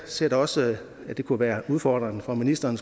ser da også at det kunne være udfordrende for ministeren